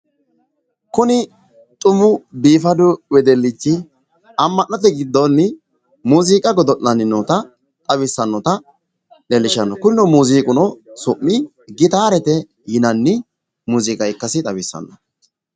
Kuni xumu biifadu wedellichi amma'note giddoonni muuziiqa godo'lanni noota xawissannota leellishshano kuni muuziiqu su'mi gitaarete yinani muziiqa ikkasi xawissano.